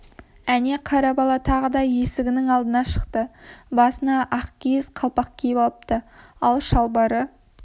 әне қара бала тағы да есігінің алдына шықты басына ақ киіз қалпақ киіп алыпты ал шалбары